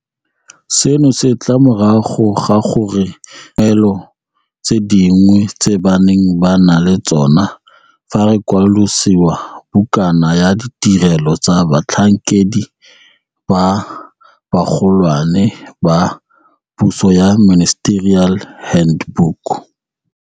Seno se tla morago ga gore re fokotse dikungwelo tse dingwe tse ba neng ba na le tsona fa re kwalolasešwa bukana ya ditirelo tsa batlhankedi ba bagolwane ba puso ya Ministerial Hand book.